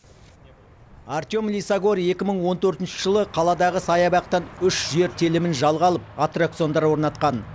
артем лисагор екі мың он төртінші жылы қаладағы саябақтан үш жер телімін жалға алып аттракциондар орнатқан